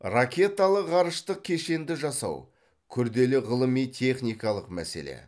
ракеталық ғарыштық кешенді жасау күрделі ғылыми техникалық мәселе